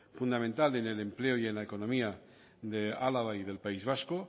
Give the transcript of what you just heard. fundamental en el empleo y en la economía de álava y del país vasco